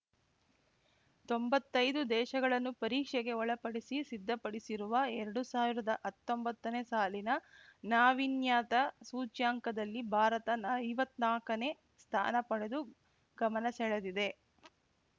ತೊಂಬತ್ತೈದು ದೇಶಗಳನ್ನು ಪರೀಕ್ಷೆಗೆ ಒಳಪಡಿಸಿ ಸಿದ್ಧಪಡಿಸಿರುವ ಎರಡು ಸಾವಿರದ ಹತ್ತೊಂಬತ್ತನೇ ಸಾಲಿನ ನಾವೀನ್ಯತಾ ಸೂಚ್ಯಂಕದಲ್ಲಿ ಭಾರತ ಐವತ್ನಾಕಾನೇ ಸ್ಥಾನ ಪಡೆದು ಗಮನಸೆಳೆದಿದೆ